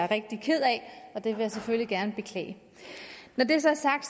rigtig ked af og det vil jeg selvfølgelig gerne beklage når det så er sagt